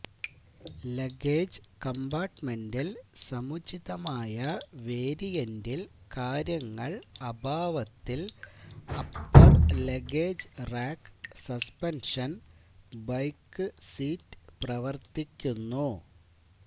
luggage കമ്പാർട്ട്മെന്റിൽ സമുചിതമായ വേരിയന്റിൽ കാര്യങ്ങൾ അഭാവത്തിൽ upper luggage rack suspension bike seat പ്രവർത്തിക്കുന്നു